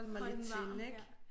Holde den varm ja